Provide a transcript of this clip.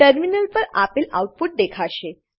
terminal પર આપેલ output દેખાશે